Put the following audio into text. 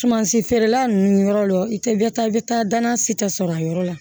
Sumansi feerela ninnu yɔrɔ la i tɛ bɛ taa i bɛ taa danna si tɛ sɔrɔ a yɔrɔ la